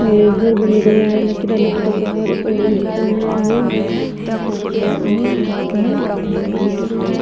ये घर बनेडो है लकीरा लकीरा दार और ये नीम की पत्तिया का पेड़ नीम निमड़ा को पेड़ उगेडो है।